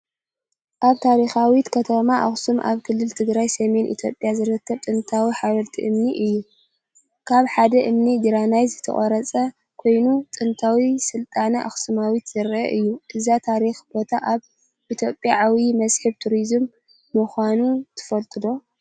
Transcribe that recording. ኣብ ታሪኻዊት ከተማ ኣኽሱም፣ ኣብ ክልል ትግራይ ሰሜን ኢትዮጵያ ዝርከብ ጥንታዊ ሓወልቲ እምኒ እዩ። ካብ ሓደ እምኒ ግራናይት ዝተቐርጸ ኮይኑ፡ ጥንታዊ ስልጣነ ኣክሱሚት ዘርኢ እዩ። እዚ ታሪኻዊ ቦታ ኣብ ኢትዮጵያ ዓብዪ መስሕብ ቱሪዝም ምዃኑ ትፈልጡ ዶ?